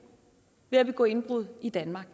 ved at begå indbrud i danmark